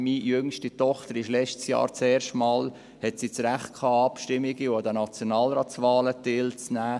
Meine jüngste Tochter hatte letztes Jahr zum ersten Mal das Recht, an Abstimmungen und den Nationalratswahlen teilzunehmen.